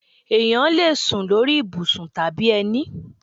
Ẹ̀yán lè sún lórí ibùsùn tàbí ẹni